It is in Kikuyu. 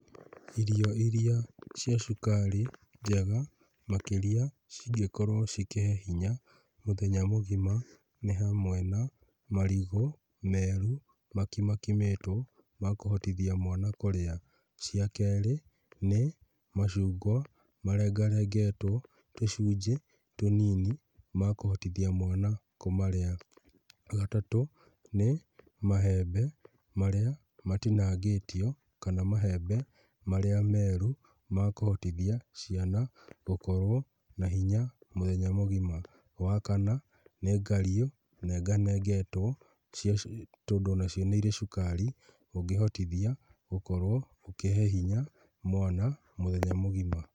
Irio iria cia cukari njega makĩria ,cingĩkorwo cikĩhe hinya mũthenya mũgima nĩ hamwe na, marigũ meru makimakimĩtwo makũhotithia mwana kũrĩa. Cia kerĩ ,nĩ, macungwa marengarengetwo tũcunjĩ tũnini makũhotithia mwana kũmarĩa. Wagatatũ ,nĩ mahembe marĩa matinangĩtio, kana mahembe marĩa meru makũhotithia ciana gũkorwo na hinya mũthenya mũgima. Wakana nĩ ngario nenganengetwo cia tondũ onacio nĩirĩ cukari ũngĩhotithia gũkorwo ũkĩhe hinya mwana mũthenya mũgima.